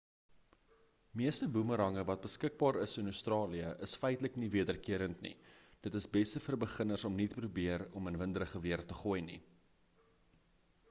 meeste boemerange wat beskikbaar is in australië is feitlik nie-wederkerend nie dit is beste vir beginners om nie te probeer om in winderige weer te gooi nie